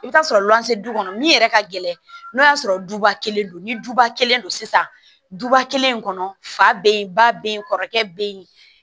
I bɛ t'a sɔrɔ lɔn se du kɔnɔ min yɛrɛ ka gɛlɛn n'o y'a sɔrɔ duba kelen don ni duba kelen don sisan duba kelen kɔnɔ fa bɛ yen ba bɛ yen kɔrɔkɛ bɛ yen